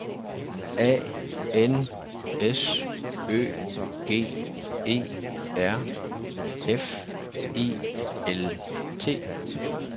A N S Ø G E R F E L T